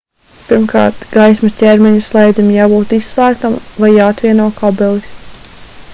pirmkārt gaismas ķermeņa slēdzim jābūt izslēgtam vai jāatvieno kabelis